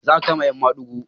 Za a kama 'yan madigo.